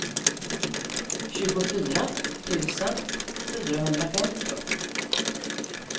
tjugofyra tusen fyrahundrafemtio